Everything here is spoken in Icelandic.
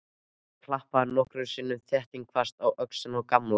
Hann klappaði nokkrum sinnum þéttingsfast á öxlina á Gamla.